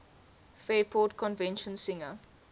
fairport convention singer